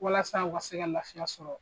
Walasa u ka se ka nansɔngɔ sɔrɔ.